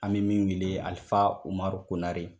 An bɛ min wele Alifa Umaru Konare.